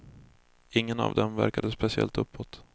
Ingen av dem verkade speciellt uppåt.